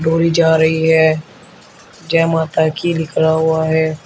तुरी जा रही है जय माता की लिखा हुआ है।